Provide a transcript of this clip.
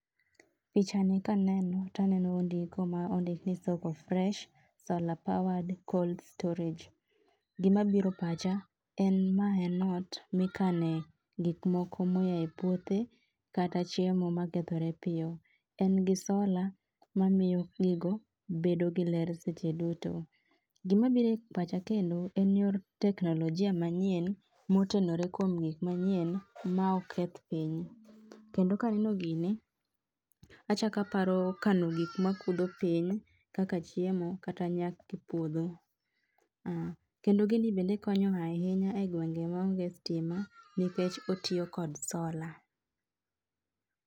Pichani kaneno, taneno ondiko ma ondik ni Soko fresh solar powered cold storage. Gimabiro pacha, en ma en ot mikane gik moko moya e puothe, kata chiemo makethore piyo. En gi sola, mamiyo gigo, bedo gi ler seche duto. Gimabiro e pacha kendo, en yor teknolojia manyien, motenore kuom gik manyien ma ok keth piny. Kendo kaneno gini, achak aparo kano gik mapudho piny kaka chiemo kata puodho a kendo gini bende konyo ahinya e gwenge maonge stima nikech otiyo kod sola